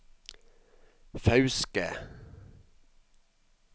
Fauske